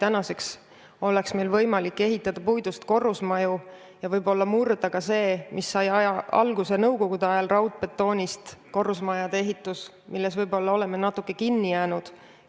Meil oleks praegu võimalik ehitada puidust korrusmaju ja võib-olla murda traditsioon, mis sai alguse nõukogude ajal raudbetoonist korrusmaju ehitades ja millesse me oleme natukene liiga palju kinni jäänud.